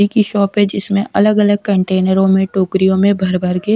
की शॉप है जिसमें अलग-अलग कंटेनरों में टोकरियों में भर भर के--